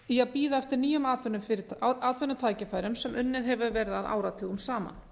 í að bíða eftir nýjum atvinnutækifærum sem unnið hefur verið að áratugum saman